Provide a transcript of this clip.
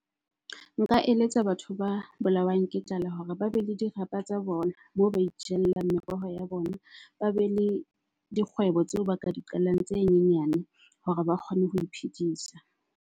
Nka eletsa batho ba bolawang ke tlala hore ba be le dirapa tsa bona moo ba itjalleng meroho ya bona. Ba be le di kgwebo tseo ba ka di qalang tse nyenyane hore ba kgone ho iphedisa.